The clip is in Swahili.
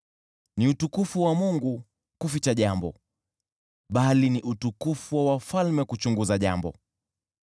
Ni Utukufu wa Mungu kuficha jambo, bali ni utukufu wa wafalme kuchunguza jambo.